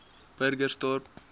burgersdorp